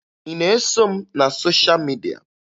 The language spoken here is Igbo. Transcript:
Ị na-eso m na sosha midia?